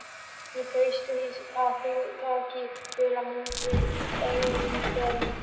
Ég treysti því að þú takir vel á móti erfingjanum.